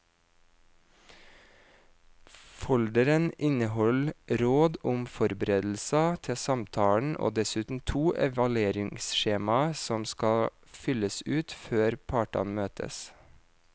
Folderen inneholder råd om forberedelser til samtalen og dessuten to evalueringsskjemaer som skal fylles ut før partene møtes.